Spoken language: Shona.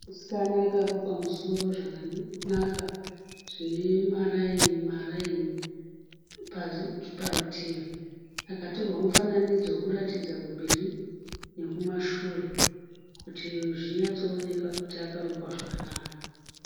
Musikana akarukwa musoro zvakanaka zvemaraini maraini parutivi, akatorwa mufananidzo wekuratidza kumberi nekumashure kuti zvinyatsooneka kuti akarukwa zvakanaka.